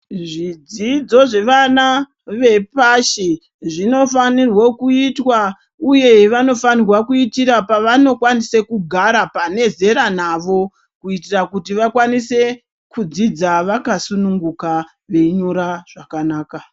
Zvidzidzo zvevana vepashi zvinofanirwo kuitwa uye vanofanirwa kjitra pavanokwanise kugara pane zera nawo kuitire kuti vakwanise kudzidza vakasununguka veinyora zvakanaka.